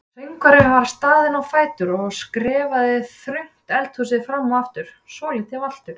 Söngvarinn var staðinn á fætur og skrefaði þröngt eldhúsið fram og aftur svolítið valtur.